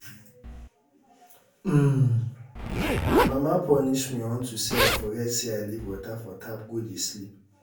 um My mama punish me unto say I forget say I leave water for tap go dey sleep